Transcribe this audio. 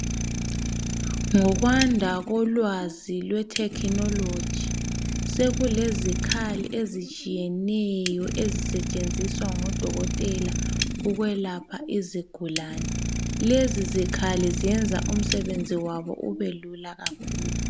Ngokwanda kolwazi lwethekhinologi sekulezikhali ezitshiyeneyo ezisetshenziswa ngodokotela ukwelapha izigulani. Lezi zikhali zenza umsebenzi wabo ubelula kakhulu.